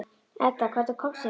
Edda, hvernig kemst ég þangað?